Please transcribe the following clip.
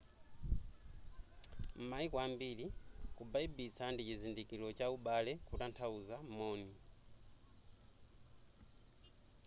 m'maiko ambiri kubaibitsa ndi chizindikilo cha ubale kutanthauza moni